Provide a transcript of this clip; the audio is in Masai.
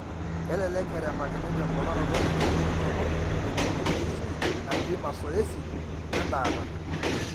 Kelelek erepakini temponaroto enkiririkinoto eneikununo enkishui natii masoesi oendaata.